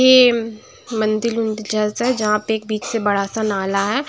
ये मंदिर -वंदिल जैसा हैं जहाँं पे बीच पे एक बड़ा-सा नाला है।